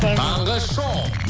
таңғы шоу